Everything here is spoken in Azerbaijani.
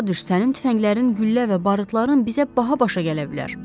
Başa düşsən, tüfənglərin, güllə və barıtların bizə baha başa gələ bilər.